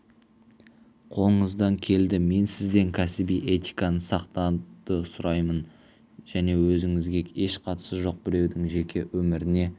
қолыңыздан келді мен сізден кәсіби этиканы сақтауды сұраймын және өзіңізге еш қатысы жоқ біреудің жеке өміріне